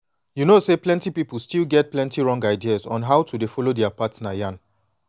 you know say plenty people still get plenty wrong ideas on how to dey follow their partner yan